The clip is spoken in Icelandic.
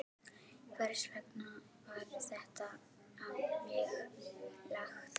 Hvers vegna var þetta á mig lagt?